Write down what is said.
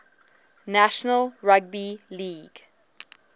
national rugby league